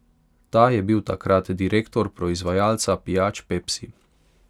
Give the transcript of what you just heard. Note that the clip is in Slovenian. Ta je bil takrat direktor proizvajalca pijač Pepsi.